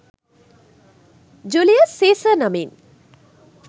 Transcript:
Julius Caesar නමින්